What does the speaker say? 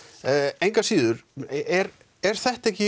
engu að síður er er þetta ekki